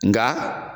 Nga